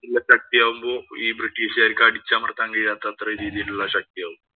ച്ചു ശക്തിയാകുമ്പോ ഈ ബ്രിട്ടീഷുകാര്‍ക്ക് അടിച്ചമര്‍ത്താന്‍ കഴിയാത്ത അത്ര രീതിയിലുള്ള ശക്തിയാവും.